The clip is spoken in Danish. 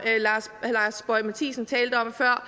lars boje mathiesen talte om før